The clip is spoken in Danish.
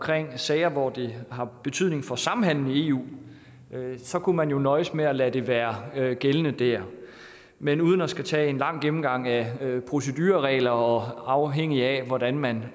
sager hvor det har betydning for samhandelen i eu kunne man jo nøjes med at lade det være gældende der men uden at skulle tage en lang gennemgang af procedureregler og afhængigt af hvordan man